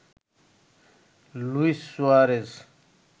Luis Suarez